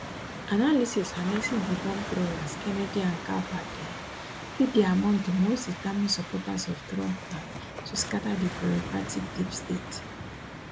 analysis harnessing di bombthrowers kennedy and gabbard um fit dey among di most determined supporters of trump plan to scatta di bureaucratic deep state